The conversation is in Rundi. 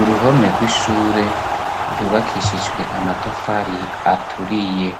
uruhome rw'ishure ryubakishijwe amatafari aturiye